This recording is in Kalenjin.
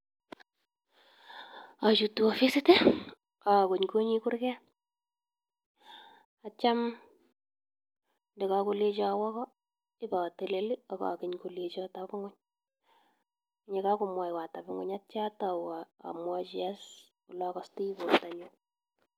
Ochuto ofisit ii, agongoni kurget ak kityo ndokokolenchon awo ko ibatelel ak geny kolencho teb ngweny. Ye kagomwawan ateb ngwey atau amwachi ole agostoi bortanyun.